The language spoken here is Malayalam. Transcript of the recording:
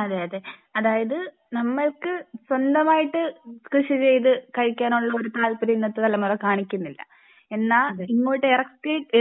അതെ അതെ അതായത് നമ്മൾക്ക് സ്വന്തമായിട്ട് കൃഷി ചെയ്ത് കഴിക്കാനുള്ള ഒരു താല്പര്യം ഇന്നത്തെ തലമുറ കാണിക്കുന്നില്ല. എന്നാൽ ഇങ്ങോട്ട്